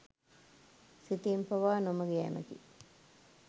සිතීම පවා නොමඟ යෑමකි.